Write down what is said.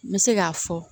N bɛ se k'a fɔ